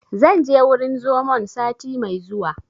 Zan je wurin zomon sati mai zuwa